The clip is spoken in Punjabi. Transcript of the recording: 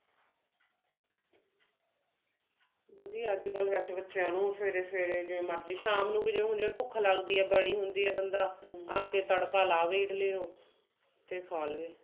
ਵਧੀਆ ਵੇਸੇ ਅੱਜਕਲ ਬੱਚਿਆਂ ਨੂੰ ਅਵੇਰੇ ਅਵੇਰੇ ਜਿਵੇਂ ਮਰਜ਼ੀ ਸ਼ਾਮ ਨੂੰ ਵੀ ਜਿਵੇਂ ਹੁਣ ਭੁੱਖ ਲੱਗਦੀ ਹੈ ਹੁੰਦੀ ਹੈ ਬੰਦਾ ਬਣਾ ਕੇ ਤੜਕਾ ਲਾਵੇ ਤੇ ਖਾ ਲਵੇ